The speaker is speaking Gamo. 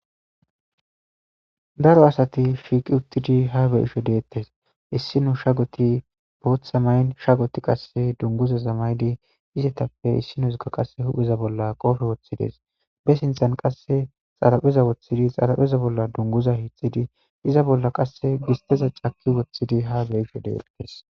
daro asati shiiqi uttidi ha be'isho deettes issinu sha goti booththa mayn shagoti qasse dunguza zamaydi izetappe issino zuga qasse hupheza bolla qofe woththides be sinthan qasse xarapheza woththidi xarapheza bolla dunguza hiixxidi iza bolla qasse gisteza caki woththidi ha beyisho deettes